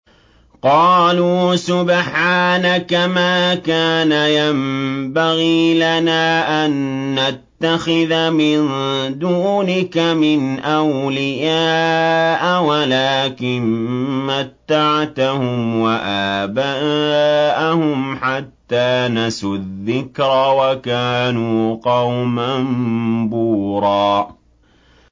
قَالُوا سُبْحَانَكَ مَا كَانَ يَنبَغِي لَنَا أَن نَّتَّخِذَ مِن دُونِكَ مِنْ أَوْلِيَاءَ وَلَٰكِن مَّتَّعْتَهُمْ وَآبَاءَهُمْ حَتَّىٰ نَسُوا الذِّكْرَ وَكَانُوا قَوْمًا بُورًا